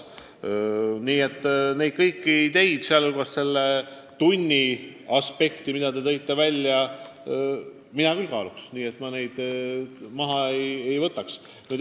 Nii et kõiki neid ideid, mis te välja tõite, ma kaaluksin hoolega, ma neid päevakorralt maha ei võtaks.